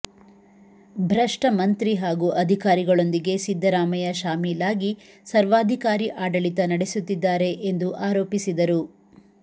ಭ್ರಷ್ಟ ಮಂತ್ರಿ ಹಾಗೂ ಅಧಿಕಾರಿ ಗಳೊಂದಿಗೆ ಸಿದ್ದರಾಮಯ್ಯ ಶಾಮೀಲಾಗಿ ಸರ್ವಾಧಿಕಾರಿ ಆಡಳಿತ ನಡೆಸುತ್ತಿದ್ದಾರೆ ಎಂದು ಆರೋಪಿಸಿದರು